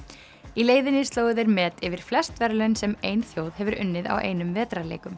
í leiðinni slógu þeir met yfir flest verðlaun sem ein þjóð hefur unnið á einum